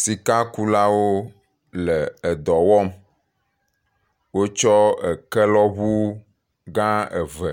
Sika kulawo le edɔ wɔm, wo tsɔ eke lɔ ʋu gã eve